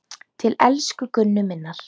Til elsku Gunnu minnar.